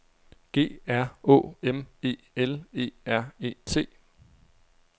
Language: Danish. G R Å M E L E R E T